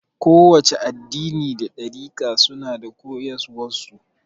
Kowace addini da ɗarika suna da koyaswan su